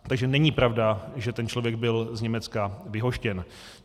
Takže není pravda, že ten člověk byl z Německa vyhoštěn.